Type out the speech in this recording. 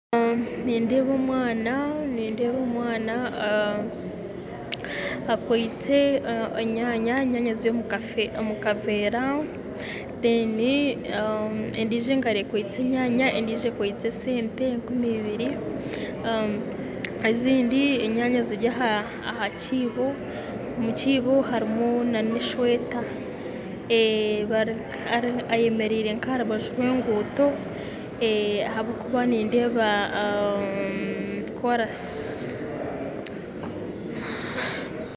Nindeeba omwana akwitse enyaanya, enyaanya ziri omukavera, endijo engaro ekwitse enyaanya endijo ekwitse esente enkumi ibiri, ezindi enyaanya ziri aha kiibo omukiibo harimu nana esweta ayemeraire nkaharubaju rw'enguuto ahabwokuba nindeeba korasi.